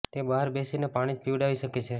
તે બહાર બેસીને પાણી જ પીવડાવી શકે છે